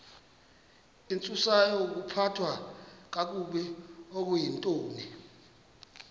intsusayokuphathwa kakabi okuyintoni